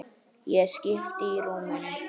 Ég skipti á rúminu.